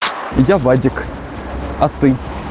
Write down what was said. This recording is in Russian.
я вадик а ты